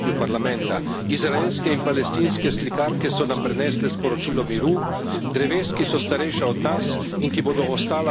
Izraelske in palestinske slikarke so nam prinesle sporočilo miru, dreves, ki so starejša od nas in ki bodo ostala, ko nas več ne bo.